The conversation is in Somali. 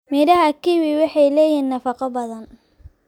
Midhaha kiwi waxay leeyihiin nafaqo badan.